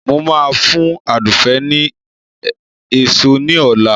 Mo ma fún Àdùfé ni èso ní ọ̀la